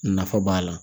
Nafa b'a la